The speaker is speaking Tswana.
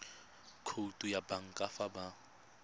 khoutu ya banka fa ba